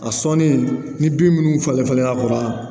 A sɔnnen ni bin minnu falen falenna dɔrɔn